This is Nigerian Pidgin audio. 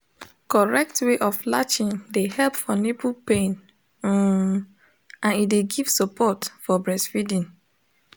correct way of latching de help for nipple pain um and e de give support for breastfeeding